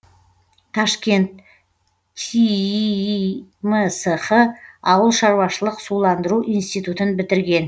ташкент тииимсх ауыл шаруашылық суландыру институтын бітірген